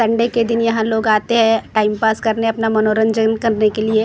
Sunday के दिन यहाँ लोग आते हैं टाइम पास करने अपना मनोरंजन करने के लिए और यहाँ पर ।